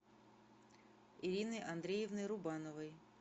ириной андреевной рубановой